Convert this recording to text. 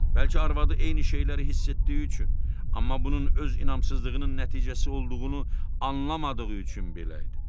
Bəlkə arvadı eyni şeyləri hiss etdiyi üçün, amma bunun öz inamsızlığının nəticəsi olduğunu anlamadığı üçün belə idi.